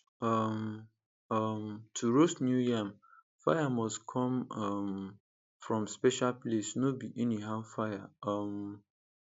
um um to roast new yam fire must come um from special place no be anyhow fire um